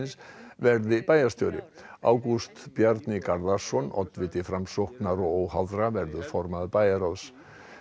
verði bæjarstjóri Ágúst Bjarni Garðarsson oddviti Framsóknar og óháðra verður formaður bæjarráðs